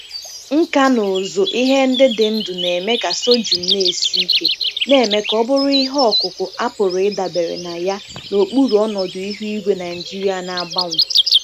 Nkà na ụzụ ihe ndị dị ndụ na-eme ka sorghum na-esi ike, na-eme ka ọ bụrụ ihe ọkụkụ a pụrụ ịdabere na ya n'okpuru ọnọdụ ihu igwe Nigeria na-agbanwe.